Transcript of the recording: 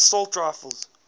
assault rifles